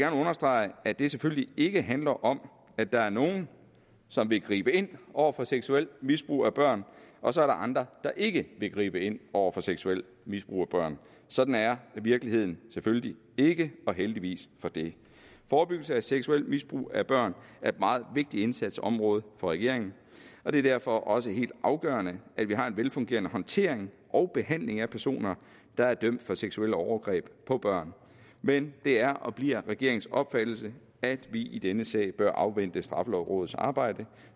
understrege at det selvfølgelig ikke handler om at der er nogle som vil gribe ind over for seksuelt misbrug af børn og så er der andre der ikke vil gribe ind over for seksuelt misbrug af børn sådan er virkeligheden selvfølgelig ikke og heldigvis for det forebyggelse af seksuelt misbrug af børn er et meget vigtigt indsatsområde for regeringen og det er derfor også helt afgørende at vi har en velfungerende håndtering og behandling af personer der er dømt for seksuelle overgreb på børn men det er og bliver regeringens opfattelse at vi i denne sag bør afvente straffelovrådets arbejde